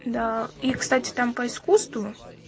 да и кстати там по искусству